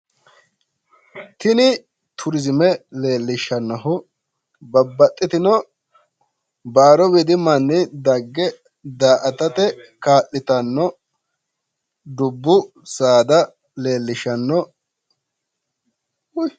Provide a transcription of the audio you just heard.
Tini turizime leellishshannohu babbaxxitino baaru widi manni dagge daa'atate kaa'litanno dubbu saada leellishshanno.